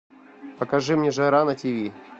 покажи мне жара на тв